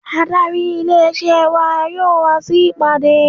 Adarí ilé isẹ́ wa yóò wa sí ìpàdé.